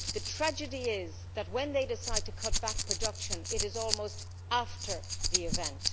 The tragedy is that when they decide to cut back production it is almost after the event.